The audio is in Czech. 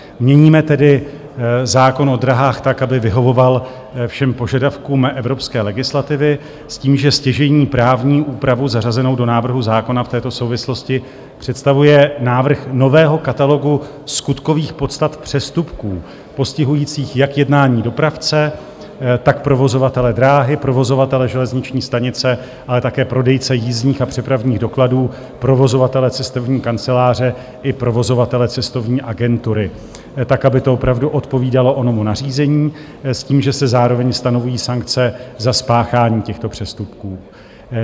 Měníme tedy zákon o dráhách tak, aby vyhovoval všem požadavkům evropské legislativy s tím, že stěžejní právní úpravu zařazenou do návrhu zákona v této souvislosti představuje návrh nového katalogu skutkových podstat přestupků postihujících jak jednání dopravce, tak provozovatele dráhy, provozovatele železniční stanice, ale také prodejce jízdních a přepravních dokladů, provozovatele cestovní kanceláře i provozovatele cestovní agentury tak, aby to opravdu odpovídalo onomu nařízení s tím, že se zároveň stanoví sankce za spáchání těchto přestupků.